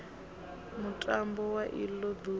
mutambo wa ilo duvha wo